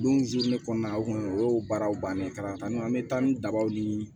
Don kɔnɔna na o kun ye o baaraw bannen kalannen don an bɛ taa ni dabaw ni